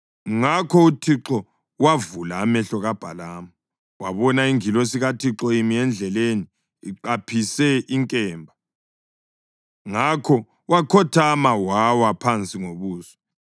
Ngakho uThixo wavula amehlo kaBhalamu, wabona ingilosi kaThixo imi endleleni iqaphise inkemba. Ngakho wakhothama wawa phansi ngobuso.